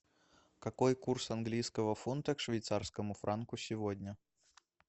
какой курс английского фунта к швейцарскому франку сегодня